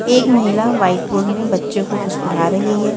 एक महिला white phone में बच्चे को कुछ पढा रही है।